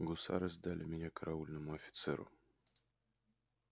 гусары сдали меня караульному офицеру